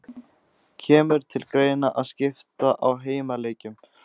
Kemur til greina að skipta á heimaleikjum?